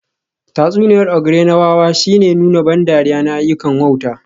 Tatsuniyar ogre na wawa shine nuna ban dariya na ayyukan wauta